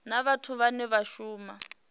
na vhathu vhane vha shuma